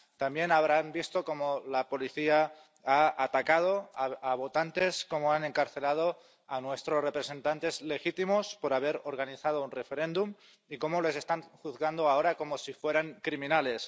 también habrán visto cómo la policía ha atacado a votantes, cómo han encarcelado a nuestros representantes legítimos por haber organizado un referéndum y cómo les están juzgando ahora como si fueran criminales.